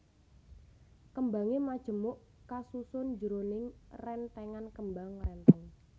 Kembangé majemuk kasusun jroning rèntèngan kembang rèntèng